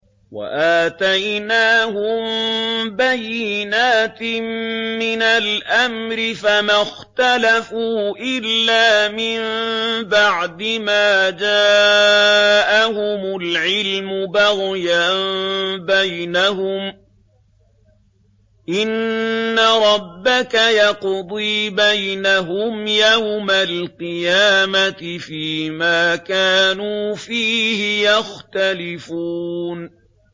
وَآتَيْنَاهُم بَيِّنَاتٍ مِّنَ الْأَمْرِ ۖ فَمَا اخْتَلَفُوا إِلَّا مِن بَعْدِ مَا جَاءَهُمُ الْعِلْمُ بَغْيًا بَيْنَهُمْ ۚ إِنَّ رَبَّكَ يَقْضِي بَيْنَهُمْ يَوْمَ الْقِيَامَةِ فِيمَا كَانُوا فِيهِ يَخْتَلِفُونَ